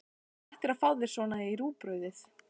Þú ættir að fá þér svona í rúgbrauðið!